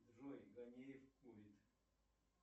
джой ганеев курит